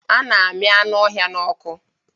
A na-ami anu ọhịa n'ọkụ